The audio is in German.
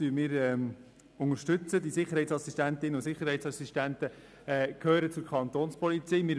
Die Sicherheitsassistentinnen und Sicherheitsassistenten gehören zur Kantonspolizei (Kapo).